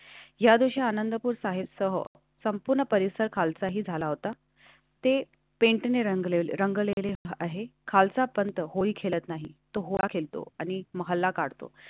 या दिवशी आनंदपुर साहिबसह संपूर्ण परिसर खालचाही झाला होता. तें पेंटने रंगलेली रंगलेला आहे. खालचा पण होळी खेळत नाही तो राखील तो आणि तुम्हाला काढतो.